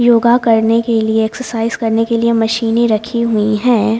योगा करने के लिए एक्सरसाइज करने के लिए मशीनें रखी हुई हैं।